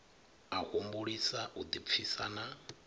a humbulisa u ḓipfisa na